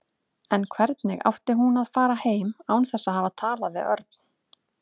En hvernig átti hún að fara heim án þess að hafa talað við Örn?